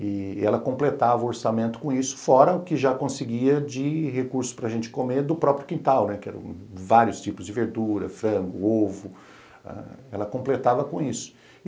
e ela completava o orçamento com isso, fora o que já conseguia de recursos para gente comer do próprio quintal, né, que eram vários tipos de verdura, frango, ovo, ela completava com isso.